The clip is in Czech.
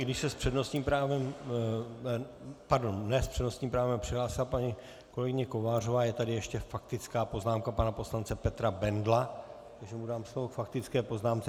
I když se s přednostním právem - pardon, ne s přednostním právem, přihlásila paní kolegyně Kovářová, je tady ještě faktická poznámka pana poslance Petra Bendla, takže mu dám slovo k faktické poznámce.